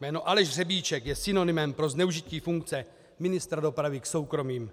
Jméno Aleš Řebíček je synonymem pro zneužití funkce ministra dopravy k soukromým